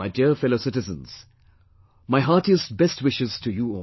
My dear fellow citizens, my heartiest best wishes to you all